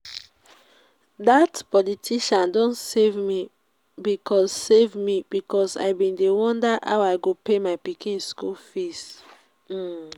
dat politician don save me because save me because i bin dey wonder how i go pay my pikin school fees um